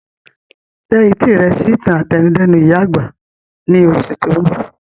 Tẹ etí rẹ sí ìtàn àtẹnudẹ́nu ìyá àgbà ni oṣù ti oun bọ!